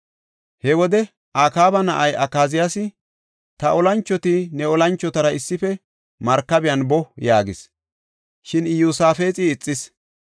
He wode Akaaba na7ay Akaziyaasi, “Ta oosanchoti ne oosanchotara issife markabiyan boo” yaagis; shin Iyosaafexi ixis.